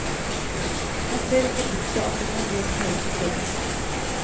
Han ser ikke bort fra at det kan bli aktuelt å prøve.